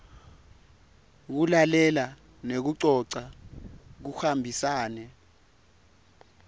kulalela nekucoca kuhambisane